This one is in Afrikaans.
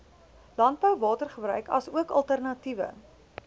landbouwatergebruik asook alternatiewe